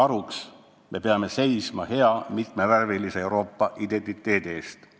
Ühendatud selleks, et seista hea mitmevärvilise Euroopa identiteedi eest.